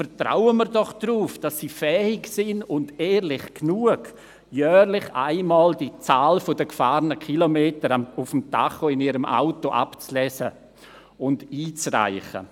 Vertrauen wir doch darauf, dass sie fähig und auch ehrlich genug sind, jährlich einmal die Zahl der gefahrenen Kilometer auf dem Tacho ihres Autos abzulesen und einzureichen.